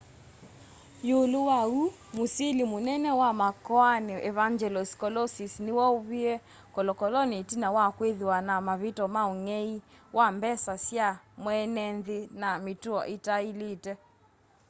iulu wa uu musili munene wa makoani evangelos kalousis ni woviwe kolokoloni itina wa kwithiwa na mavityo ma ung'ei wa mbesa sya mweenenthi na mituo itailite